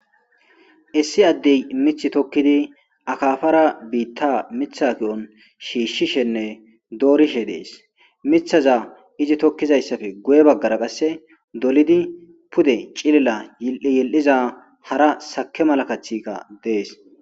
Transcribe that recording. issi addey mith tokkidi akaafara biitta mitha ki7on shiishshishenne doorishe dees mithaza izi tokkizayssafe guye baggara qasse dolidi pude cilila ye7yel7iza hara sake malakathika dees